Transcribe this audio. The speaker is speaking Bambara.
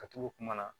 Ka turu kuma na